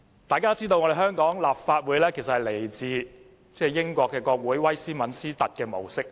眾所周知，香港立法會是來自英國國會威斯敏斯特模式。